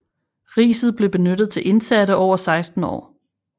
Riset blev benyttet til indsatte over 16 år